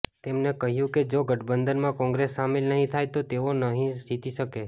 તેમને કહ્યું કે જો ગઠબંધનમાં કોંગ્રેસ શામિલ નહીં થાય તો તેઓ નહીં જીતી શકે